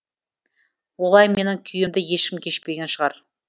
олай менің күйімді ешкім кешпеген шығар